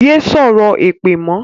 Yé sọ̀rọ̀ èpè mọ́!